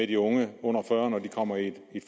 de unge under fyrre nu kommer i et